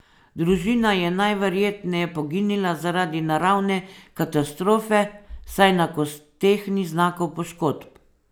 Družina je najverjetneje poginila zaradi naravne katastrofe, saj na kosteh ni znakov poškodb.